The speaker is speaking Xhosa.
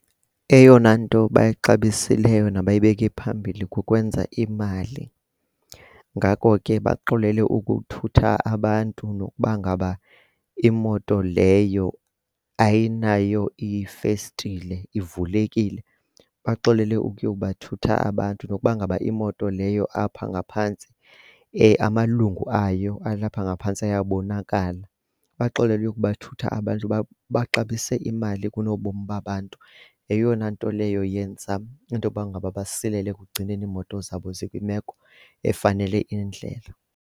Eyona nto bayixabisileyo nabayibeke phambili kukwenza imali, ngako ke baxolele ukuthutha abantu nokuba ngaba imoto leyo ayinayo ifestile ivulekile. Baxolele ukuyo kubathutha abant, nokuba ngaba imoto leyo apha ngaphantsi amalungu ayo alapha ngaphantsi ayabonakala. Baxolele ukuyobathutha abantu baxabise imali kunobomi babantu. Yeyona nto leyo yenza into yoba ngaba basilele ekugcineni iimoto zabo zikwimeko efanele indlela.